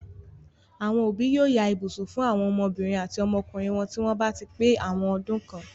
Àwọn òbí yóò ya ibùsùn fún àwọn ọmọbìnrin àti ọmọkùnrin wọn tí wọ́n bá ti pé àwọn ọdún kan.